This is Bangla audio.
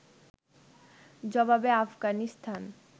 জবাবে আফগানিস্তান